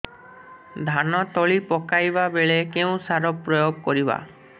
ଧାନ ତଳି ପକାଇବା ବେଳେ କେଉଁ ସାର ପ୍ରୟୋଗ କରିବା